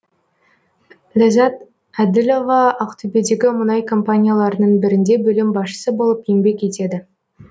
ләззат әділова ақтөбедегі мұнай компанияларының бірінде бөлім басшысы болып еңбек етеді